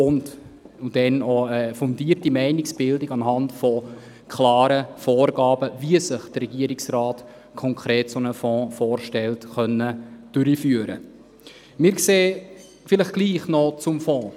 Dies, um dann eine fundierte Meinungsbildung anhand klarer Vorgaben, wie sich der Regierungsrat konkret einen solchen Fonds vorstellt, vorzunehmen Vielleicht trotzdem noch zum Fonds: